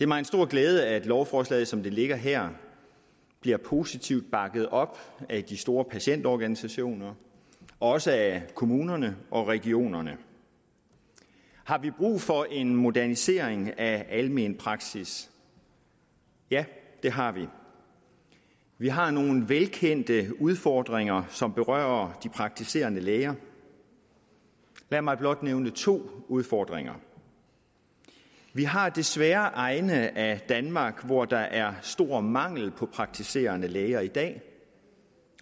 mig en stor glæde at lovforslaget som det ligger her bliver positivt bakket op af de store patientorganisationer også af kommunerne og regionerne har vi brug for en modernisering af almen praksis ja det har vi vi har nogle velkendte udfordringer som berører de praktiserende læger lad mig blot nævne to udfordringer vi har desværre egne af danmark hvor der er stor mangel på praktiserende læger i dag